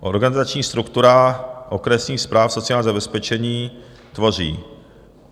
Organizační strukturu okresních správ sociálního zabezpečení tvoří: